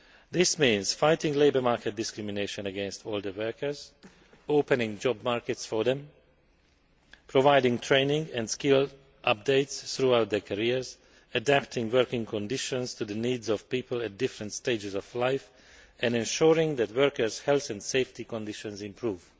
This means fighting labour market discrimination against older workers, opening job markets for them, providing training and skill updates throughout their careers, adapting working conditions to the needs of people at different stages of life and ensuring that workers' health and safety conditions improve.